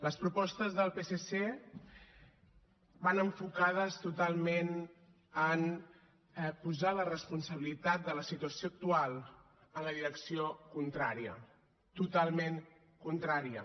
les propostes del psc van enfocades totalment en posar la responsabilitat de la situació actual en la direcció contrària totalment contrària